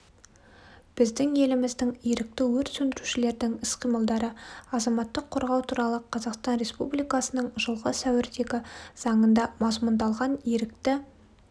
біздің еліміздің ерікті өрт сөндірушілердің іс-қимылдары азаматтық қорғау туралы қазақстан республикасының жылғы сәуірдегі заңында мазмұндалған ерікті